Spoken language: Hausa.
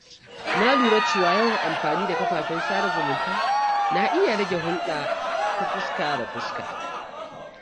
Na lura cewa yawan amfani da kafafen sada zumunta na iya rage hulɗa ta fuska da fuska.